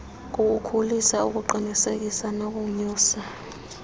kuwukhulisa ukuqiniseka nokonyusa